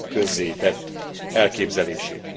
közzétett elképzelését.